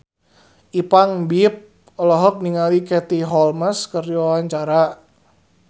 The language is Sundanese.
Ipank BIP olohok ningali Katie Holmes keur diwawancara